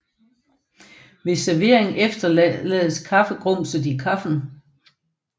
Ved servering efterlades kaffegrumset i kaffen